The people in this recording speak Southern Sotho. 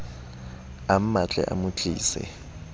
a mmatle a mo tlise